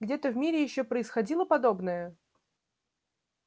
где-то в мире ещё происходило подобное